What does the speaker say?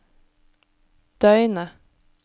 døgnet